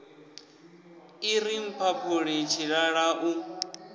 i ri mphaphuli tshilala u